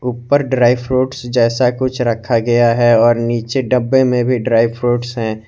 ऊपर dry fruits जैसा कुछ रखा गया है और नीचे डब्बे में भी ड्राई फ्रूट्स हैं।